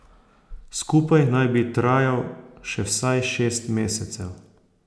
Skupaj naj bi trajal še vsaj šest mesecev.